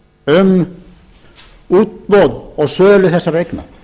um útboð og sölu þessara eigna